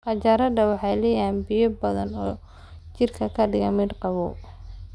Qajaarada waxay leedahay biyo badan oo jidhka ka dhiga mid qabow.